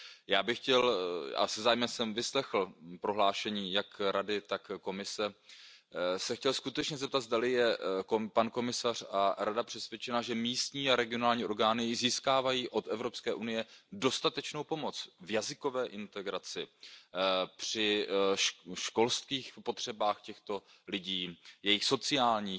Já jsem se zájmem vyslechl prohlášení jak Rady, tak Komise a chtěl bych se skutečně zeptat, zdali jsou pan komisař a Rada přesvědčeni, že místní a regionální orgány získávají od Evropské unie dostatečnou pomoc v jazykové integraci, při školských potřebách těchto lidí, jejich sociálních